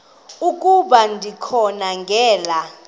ukuba ndikha ngela